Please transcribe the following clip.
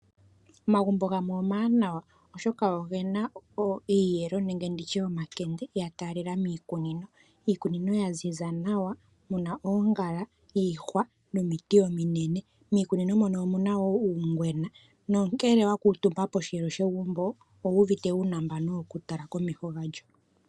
Omagumbo gamwe omawanawa oshoka ogena iiyelo nenge nditye omakande yatalela miikunino, iikunino ya ziza nawa oongala, iihwa nomiti ominene. Miikunino mono omuna uungwena nongele wa kutumba poshelo shegumbo owu uvite wuna uunambno woku tala komeho galyo.